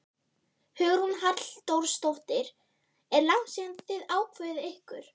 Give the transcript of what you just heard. Hugrún Halldórsdóttir: Er langt síðan þið ákváðuð ykkur?